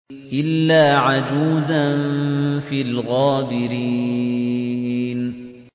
إِلَّا عَجُوزًا فِي الْغَابِرِينَ